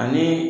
Ani